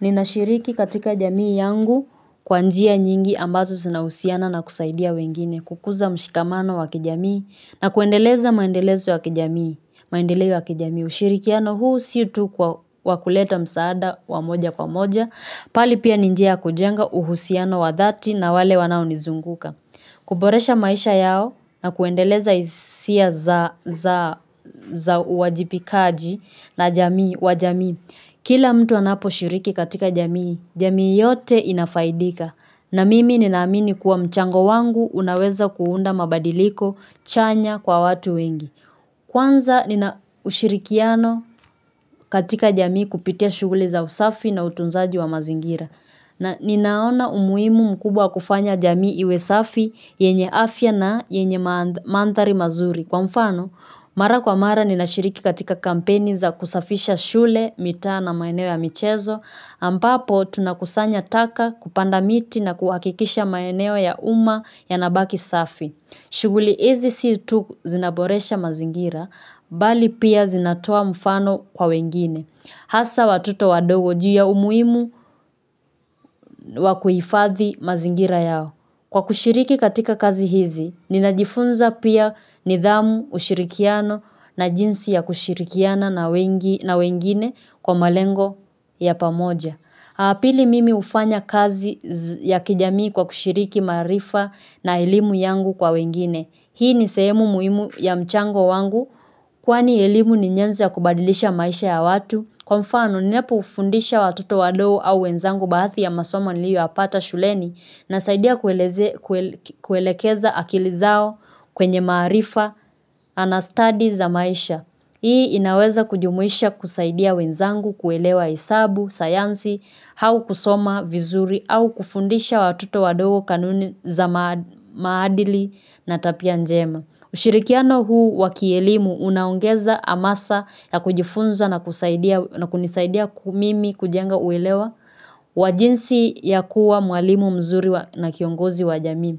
Ninashiriki katika jamii yangu kwa njia nyingi ambazo zinahusiana na kusaidia wengine, kukuza mshikamano wa kijamii na kuendeleza maendelezo ya kijamii, maendeleo ya kijamii, ushirikiano huu si tu kwa wa kuleta msaada wa moja kwa moja, bali pia ni njia ya kujenga uhusiano wa dhati na wale wanaonizunguka. Kuboresha maisha yao na kuendeleza hisia za uwajibikaji na jamii wa jamii. Kila mtu anaposhiriki katika jamii, jamii yote inafaidika na mimi ninaamini kuwa mchango wangu unaweza kuunda mabadiliko chanya kwa watu wengi. Kwanza nina ushirikiano katika jamii kupitia shughuli za usafi na utunzaji wa mazingira na ninaona umuhimu mkubwa wa kufanya jamii iwe safi yenye afya na yenye mandhari mazuri. Kwa mfano, mara kwa mara ninashiriki katika kampeni za kusafisha shule, mitaa na maeneo ya michezo ambapo tunakusanya taka kupanda miti na kuhakikisha maeneo ya umma yanabaki safi. Shughuli hizi si tu zinaboresha mazingira, bali pia zinatoa mfano kwa wengine. Hasa watoto wadogo juu ya umuhimu wa kuhifadhi mazingira yao. Kwa kushiriki katika kazi hizi, ninajifunza pia nidhamu ushirikiano na jinsi ya kushirikiana na wengine kwa malengo ya pamoja. Pili mimi hufanya kazi ya jamii kwa kushiriki maarifa na elimu yangu kwa wengine. Hii ni sehemu muhimu ya mchango wangu, kwani elimu ni nyanzo ya kubadilisha maisha ya watu, kwa mfano ninapoufundisha watoto wadogo au wenzangu baadhi ya masomo niliyoyapata shuleni nasaidia kuelekeza akili zao kwenye maarifa na stadi za maisha. Hii inaweza kujumuisha kusaidia wenzangu kuelewa hesabu, sayansi, au kusoma vizuri au kufundisha watoto wadogo kanuni za maadili na tabia njema. Ushirikiano huu wa kielimu unaongeza hamasa na kujifunza na kunisaidia mimi kujenga uelewa wa jinsi ya kuwa mwalimu mzuri na kiongozi wa jamii.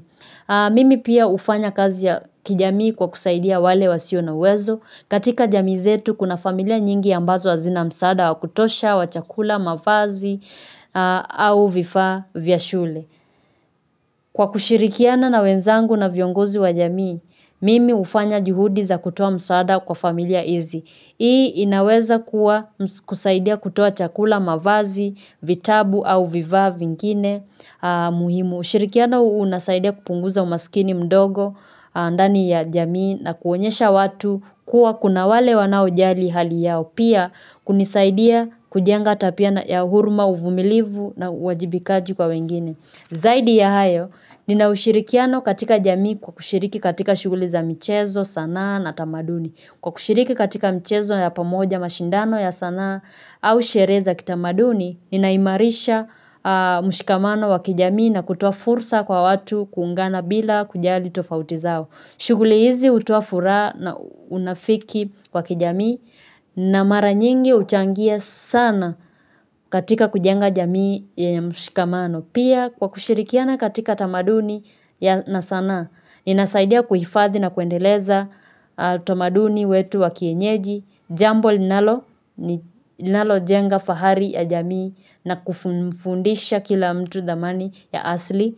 Mimi pia hufanya kazi ya kijamii kwa kusaidia wale wasio na uwezo. Katika jamii zetu kuna familia nyingi ambazo hazina msaada wa kutosha wa chakula mavazi au vifaa vya shule. Kwa kushirikiana na wenzangu na viongozi wa jamii, mimi hufanya juhudi za kutoa msaada kwa familia hizi. Hii inaweza kuwa kusaidia kutoa chakula mavazi, vitabu au vifaa vingine muhimu. Ushirikiano unasaidia kupunguza umasikini mdogo ndani ya jamii na kuonyesha watu kuwa kuna wale wanaojali hali yao pia kunisaidia kujenga tabia na ya huruma uvumilivu na uwajibikaji kwa wengine. Zaidi ya hayo nina ushirikiano katika jamii kwa kushiriki katika shughuli za michezo sanaa na tamaduni. Kwa kushiriki katika mchezo ya pamoja mashindano ya sanaa au sherehe za kitamaduni, ninaimarisha mshikamano wa kijamii na kutoa fursa kwa watu kuungana bila kujali tofauti zao. Shughuli hizi hutoa furaha na unafiki wa kijamii na mara nyingi huchangia sana katika kujenga jamii ya mshikamano. Pia kwa kushirikiana katika tamaduni ya na sanaa, inasaidia kuhifadhi na kuendeleza utamaduni wetu wa kienyeji, jambo linalojenga fahari ya jamii na kufundisha kila mtu dhamani ya asili.